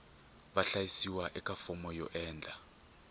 vahlayisiwa eka fomo yo endla